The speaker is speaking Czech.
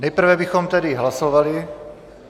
Nejprve bychom tedy hlasovali.